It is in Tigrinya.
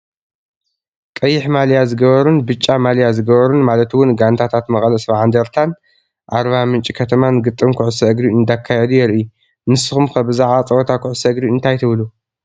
ቀይሕ ማልያ ዝገበሩን ብጫ ማልያ ዝገበሩን ማለት ውን ጋንታታት መቐለ 70 እንደርታን ኣርባምንጭ ከተማን ግጥም ኩዕሶ እግሪ እንዳካየዱ የርኢ፡፡ ንስኹም ከ ብዛዕባ ፀወታ ኩዕሶ እግሪ እንታይ ትብሉ?